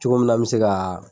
Cogo min na n bɛ se ka